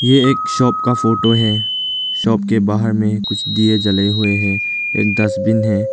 ए एक शॉप का फोटो है। शॉप के बाहर में कुछ दिए जले हुए हैं। एक डस्टबिन है।